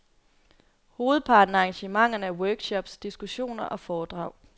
Hovedparten af arrangementerne er workshops, diskussioner og foredrag.